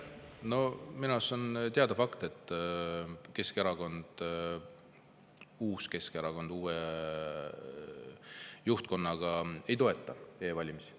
No minu arust on teada fakt, et Keskerakond – uus Keskerakond uue juhtkonnaga – ei toeta e-valimisi.